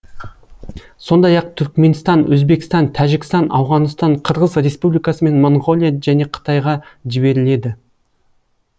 сондай ақ түркменстан өзбекстан тәжікстан ауғанстан қырғыз республикасы мен моңғолия және қытайға жіберіледі